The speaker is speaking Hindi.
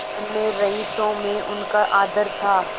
अन्य रईसों में उनका आदर था